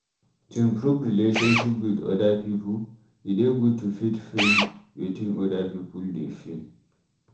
To improve relationship with oda pipo, e dey good to fit feel wetin oda pipo dey feel